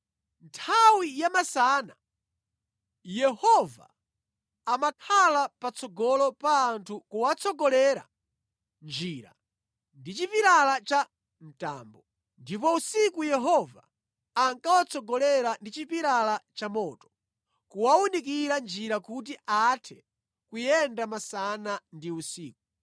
Nthawi yamasana Yehova amakhala patsogolo pa anthu kuwatsogolera njira ndi chipilala cha mtambo, ndipo usiku Yehova ankawatsogolera ndi chipilala cha moto, kuwawunikira njira kuti athe kuyenda masana ndi usiku.